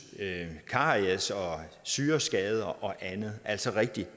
caries syreskader og andet altså rigtig